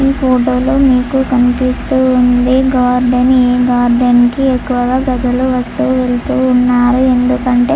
ఈ ఫోటోలో మీకు కనిపిస్తూ ఉంది గార్డెను . ఈ గార్డెన్ కి ఎక్కువగా ప్రజలు వస్తూవెళుతూ ఉంటారు.ఎందుకంటే--